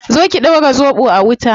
Zo ki dora zobo a wuta